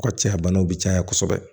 O ka caya banaw bɛ caya kosɛbɛ